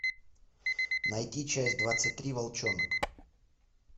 найти часть двадцать три волчонок